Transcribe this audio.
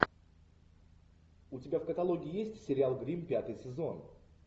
у тебя в каталоге есть сериал гримм пятый сезон